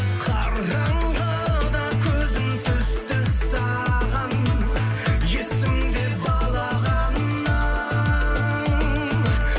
қараңғыда көзім түсті саған есімде балағаның